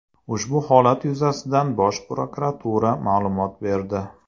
Ushbu holat yuzasidan Bosh prokuratura ma’lumot berdi.